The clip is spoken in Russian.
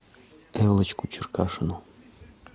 эллочку черкашину